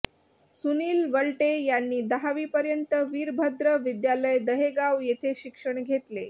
सुनील वलटे यांनी दहावीपर्यंत वीरभद्र विद्यालय दहेगाव येथे शिक्षण घेतले